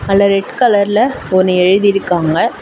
அதுல ரெட் கலர்ல ஒன்னு எழுதிருக்காங்க.